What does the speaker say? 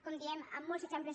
com diem amb molts exemples